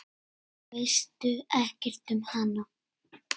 Veit ekkert um hana.